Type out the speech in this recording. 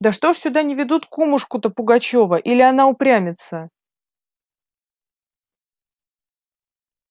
да что ж сюда не ведут кумушку-то пугачёва или она упрямится